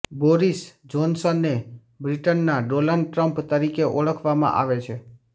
Boris જોનસનને બ્રિટનનાં Donald Trump તરીકે ઓળખવામાં આવે છે